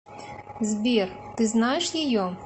сбер ты знаешь ее